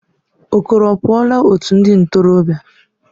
Okoro apuola otu ndi ntorobia?